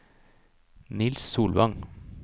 Niels Solvang